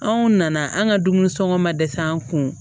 Anw nana an ka dumuni sɔngɔ ma dɛsɛ an kun